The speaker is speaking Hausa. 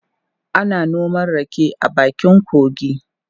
Ana noma rake a bakin kogi.